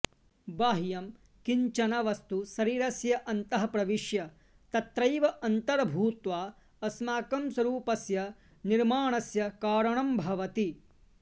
बाह्यं किञ्चन वस्तु शरीरस्य अन्तः प्रविश्य तत्रैव अन्तर्भूत्वा अस्माकं स्वरूपस्य निर्माणस्य कारणं भवति